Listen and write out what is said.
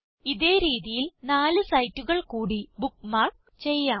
ഇതേ രീതിയിൽ നാല് സൈറ്റുകൾ കൂടി ബുക്ക്മാർക്ക് ചെയ്യാം